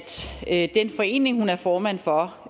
at den forening hun er formand for